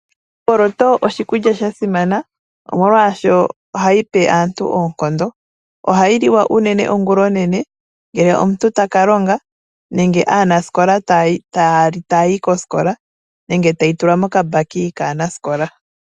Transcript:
Omboloto oshikulya shasimana molwashoka ohayi pe aantu oonkondo. Ohayi liwa unene ongula onene ngele omuntu taka longa, nenge aanasikola taya li tayayi kosikola, nenge tayi tulwa mokambaki kaanaskola.